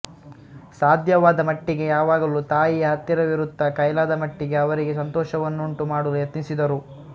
ಸಾಧ್ಯವಾದಮಟ್ಚಿಗೆ ಯಾವಾಗಲೂ ತಾಯಿಯ ಹತ್ತಿರವಿರುತ್ತ ಕೈಲಾದಮಟ್ಟಿಗೆ ಅವರಿಗೆ ಸಂತೋಷವನ್ನುಂಟು ಮಾಡಲು ಯತ್ನಿಸಿದರು